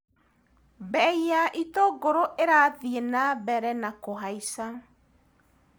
Mbei ya itũngũrũ ĩrathi na mbere na kũhaica.